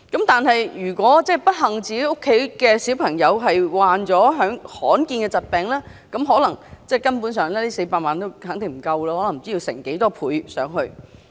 但是，如果自己的小朋友不幸患上罕見疾病 ，400 萬元根本不足夠，可能要以倍數來計。